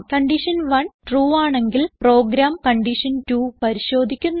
condition 1 true ആണെങ്കിൽ program condition 2പരിശോധിക്കുന്നു